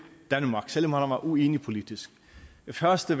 danmark selv om han var uenig politisk det første